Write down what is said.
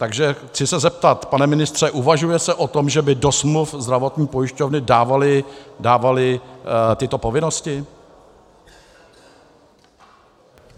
Takže se chci zeptat, pane ministře: Uvažuje se o tom, že by do smluv zdravotní pojišťovny dávaly tyto povinnosti?